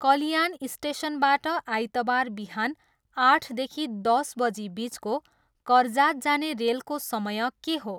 कल्याण स्टेसनबाट आइतबार बिहान आठदेखि दस बजीबिचको करजात जाने रेलको समय के हो?